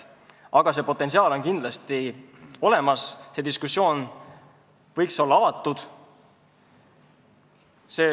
Aga see potentsiaal on kindlasti olemas, diskussioon võiks olla avatud.